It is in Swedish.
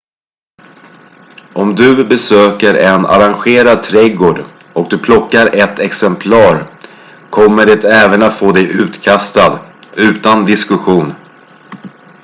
"om du besöker en arrangerad trädgård och du plockar ett "exemplar" kommer det även att få dig utkastad utan diskussion.